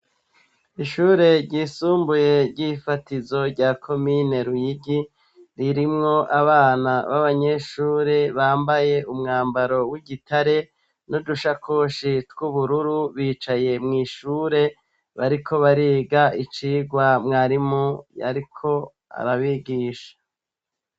Ishure ryisumbuye ry'ifatizo rya komine lwigi ririmwo abana b'abanyeshure bambaye umwambaro w'igitare noudushakoshi tw'ubururu bicaye mw'ishure bariko bariga icirwa mwarimu yariko arabigisha aaa.